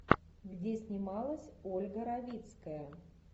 где снималась ольга равицкая